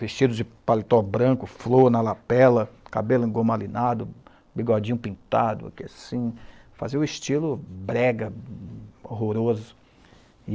vestido de paletó branco, flor na lapela, cabelo gomalinado, bigodinho pintado, aqui assim, fazia o estilo brega, horroroso.